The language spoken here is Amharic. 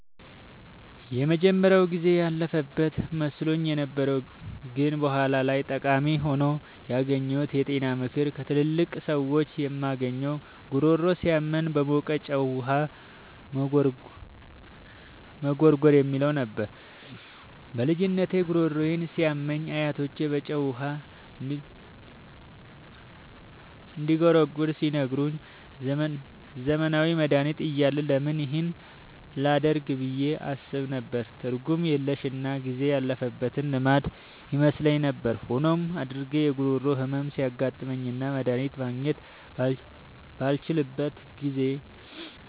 የመጀመሪያው ጊዜ ያለፈበት መስሎኝ የነበረው ግን በኋላ ላይ ጠቃሚ ሆኖ ያገኘሁት የጤና ምክር ከትላልቅ ሰዎች የምናገኘው "ጉሮሮ ሲያመን በሞቀ ጨው ውሃ መጉርጎር" የሚለው ነበር። በልጅነቴ ጉሮሮዬ ሲያመኝ አያቶቼ በጨው ውሃ እንድጉርጎር ሲነግሩኝ፣ ዘመናዊ መድሃኒት እያለ ለምን ይህን ላደርግ ብዬ አስብ ነበር። ትርጉም የለሽና ጊዜ ያለፈበት ልማድ ይመስለኝ ነበር። ሆኖም፣ አድጌ የጉሮሮ ህመም ሲያጋጥመኝና መድሃኒት ማግኘት ባልችልበት ጊዜ፣